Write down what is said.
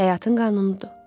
Həyatın qanunudur.